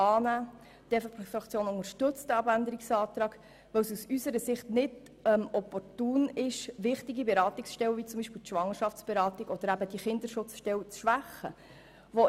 Wir unterstützen den Abänderungsantrag, weil es aus unserer Sicht nicht opportun ist, wichtige Beratungsstellen wie etwa die Schwangerschaftsberatung oder die Kinderschutzstelle zu schwächen.